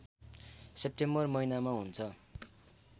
September महिनामा हुन्छ